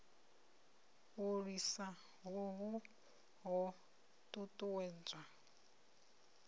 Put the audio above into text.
u lwisa hohu ho ṱuṱuwedzwa